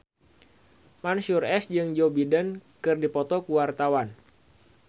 Mansyur S jeung Joe Biden keur dipoto ku wartawan